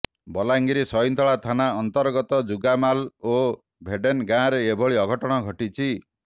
ବଲାଙ୍ଗୀର ସଇଁନ୍ତଳା ଥାନା ଅନ୍ତର୍ଗତ ଜୁଗାମାଲ ଓ ଭେଡେନ ଗାଁରେ ଏଭଳି ଅଘଟଣ ଘଟିଛି